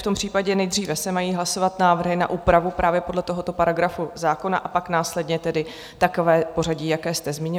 V tom případě se nejdříve mají hlasovat návrhy na úpravu právě podle tohoto paragrafu zákona, a pak následně tedy takové pořadí, jaké jste zmínil.